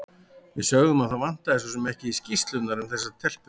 Við sögðum að það vantaði svo sem ekki skýrslurnar um þessa telpu.